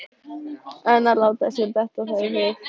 En að láta sér detta það í hug!